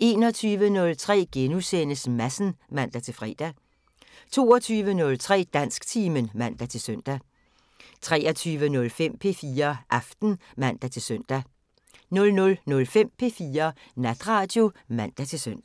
21:03: Madsen *(man-fre) 22:03: Dansktimen (man-søn) 23:05: P4 Aften (man-søn) 00:05: P4 Natradio (man-søn)